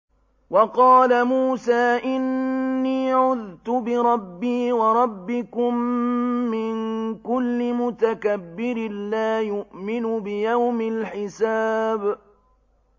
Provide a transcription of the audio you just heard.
وَقَالَ مُوسَىٰ إِنِّي عُذْتُ بِرَبِّي وَرَبِّكُم مِّن كُلِّ مُتَكَبِّرٍ لَّا يُؤْمِنُ بِيَوْمِ الْحِسَابِ